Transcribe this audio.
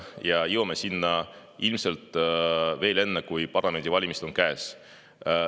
Me jõuame sinna ilmselt veel enne, kui parlamendivalimised on käes.